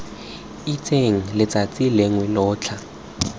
itseng letsatsi lengwe lo tla